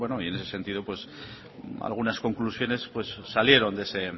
bueno en ese sentido algunas conclusiones salieron de